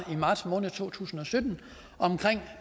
i marts måned to tusind og sytten omkring